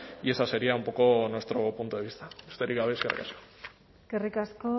y ese sería un poco nuestro punto de vista besterik gabe eskerrik asko eskerrik asko